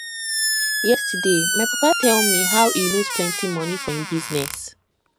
yesterday my papa tell me how he lose plenty money for im business